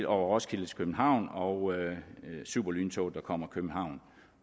over roskilde til københavn og superlyntoget der kommer fra københavn